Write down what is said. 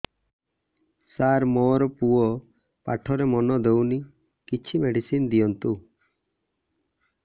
ସାର ମୋର ପୁଅ ପାଠରେ ମନ ଦଉନି କିଛି ମେଡିସିନ ଦିଅନ୍ତୁ